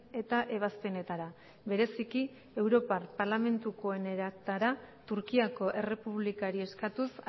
eta ebazpenetara bereziki europar parlamentukoenetara turkiako errepublikari eskatuz